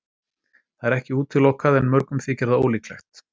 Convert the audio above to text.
Það er ekki útilokað en mörgum þykir það ólíklegt.